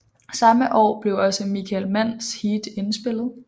Samme år blev også Michael Manns Heat indspillet